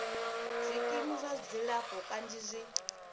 zwikimu zwa dzilafho kanzhi zwi